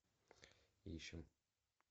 ищем